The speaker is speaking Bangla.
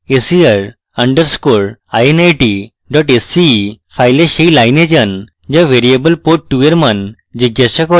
ser underscore init dot sce file ser line যান যা ভ্যারিয়েবল port2 in মান জিজ্ঞাসা করে